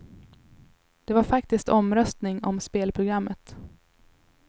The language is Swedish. Det var faktiskt omröstning om spelprogrammet.